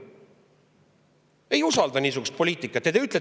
Ma ei usalda niisugust poliitikat!